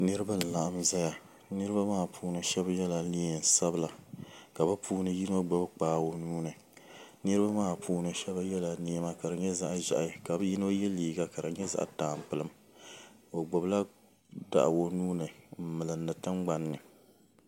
niriba n-laɣim zaya niriba maa puuni shɛba yela neen' sabila ka bɛ puuni yino gbubi kpaa o nuu ni niriba maa puuni shɛba yela nɛma ka di nyɛ zaɣ' ʒɛhi ka bɛ yino ye liiga ka di nyɛ zaɣ' tampilim o gbubi la daɣu o nuu ni n-milindi tiŋgbani ni.